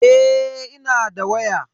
Eh ina da waya.